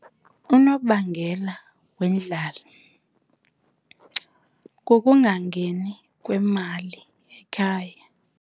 Unobangela wendlala kukungangeni kwemali ekhaya.